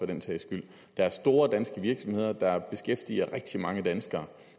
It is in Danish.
den sags skyld det er store danske virksomheder der beskæftiger rigtig mange danskere